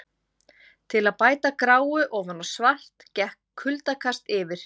Til að bæta gráu ofan á svart gekk kuldakast yfir.